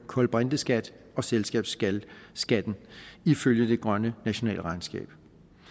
kulbrinteskat og selskabsskat ifølge det grønne nationalregnskab